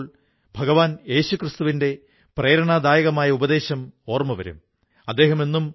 സുഹൃത്തുക്കളേ ബോണസ് ഇപ്പോൾ ചെറിയ തുകയായിരിക്കാം പക്ഷേ ഈ തുടക്കം വളരെ വലുതാണ്